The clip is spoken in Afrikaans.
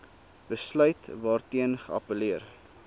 besluit waarteen geappelleer